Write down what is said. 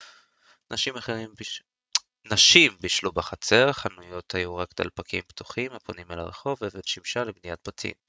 נשים בישלו בחצר חנויות היו רק דלפקים פתוחים הפונים אל הרחוב אבן שימשה לבניית בתים